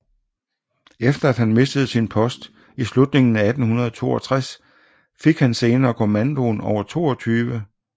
Efter at han mistede sin post i slutningen af 1862 fik han senere kommandoen over 22